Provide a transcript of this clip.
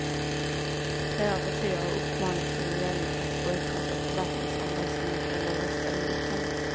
Flera partier har uppmanat sina väljare att bojkotta författningsomröstningen eller rösta emot den.